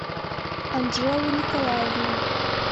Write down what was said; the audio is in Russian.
анжелу николаевну